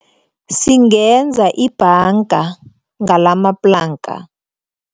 Singenza ibhanga ngalamaplanka.